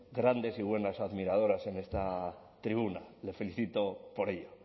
grandes y buenas admiradores en esta tribuna le felicito por ello